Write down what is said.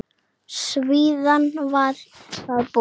Síðan var það búið.